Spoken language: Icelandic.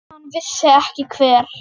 En hann vissi ekki hver.